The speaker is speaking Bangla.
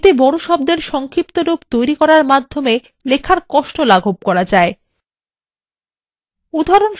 এতে বড় শব্দের সংক্ষিপ্তরূপ তৈরী করে লেখার কষ্ট লাঘব করা যায়